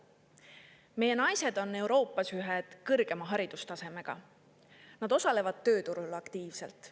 Meie naised on Euroopas ühed, nad osalevad tööturul aktiivselt.